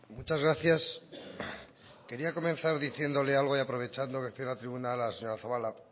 muchas gracias quería comenzar diciéndole algo y aprovechando que estoy en la tribuna a la señora zabala